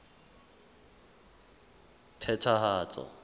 phethahatso